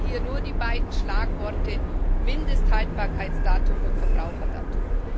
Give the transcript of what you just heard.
Ich nenne hier nur die beiden Schlagworte Mindesthaltbarkeitsdatum und Verbraucherdatum.